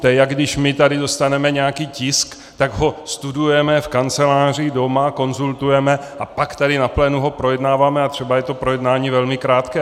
To je, jako když my tady dostaneme nějaký tisk, tak ho studujeme v kanceláři, doma, konzultujeme, a pak tady na plénu ho projednáváme a třeba je to projednání velmi krátké.